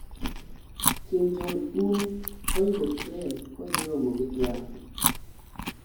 kim jong un oidho tren kodhii romo gi trump